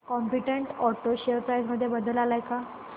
competent auto share price मध्ये बदल आलाय का